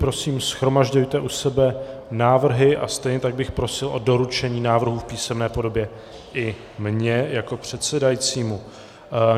Prosím, shromažďujte u sebe návrhy a stejně tak bych prosil o doručení návrhů v písemné podobě i mně jako předsedajícímu.